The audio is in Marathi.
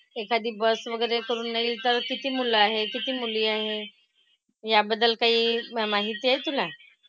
एखादी बस वगैरे करूनही तर किती मुलं आहेत? किती मुली आहेत? याबद्दल काही माहिती आहे तुला?